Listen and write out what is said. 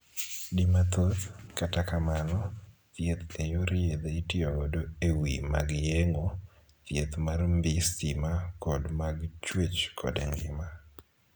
Di mathoth, kata kamano, thieth e yor yedhe itiyo godo e wii mag yeng'o, thieth mar mbii stima, kod mag chuech kod ngima.